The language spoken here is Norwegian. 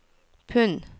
pund